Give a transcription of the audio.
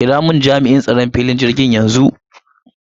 Kiramun Jami'in tsaron filin jirgin yanxu.